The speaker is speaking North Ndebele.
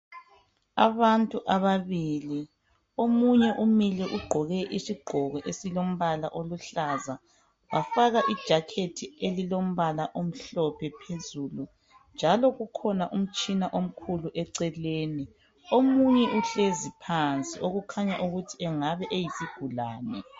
Abantu ababili omunye umile ugqoke isigqoko esilombala oluhlaza wafaka ijazi elilombala omhlophe phezulu njalo kukhona umtshina omhlophe eceleni omunye uhlezi phansi okukhanya ukuthi engabe esiyigulani